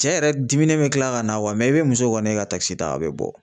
Cɛ yɛrɛ diminen bi kila ka na i bi muso kɔni ye ka ta a bɛ bɔ